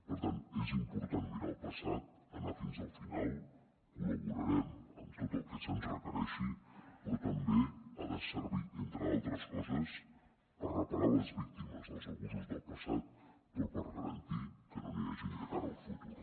per tant és important mirar el passat anar fins al final col·laborarem amb tot el que se’ns requereixi però també ha de servir entre altres coses per reparar les víctimes dels abusos del passat però per garantir que no n’hi hagin de cara al futur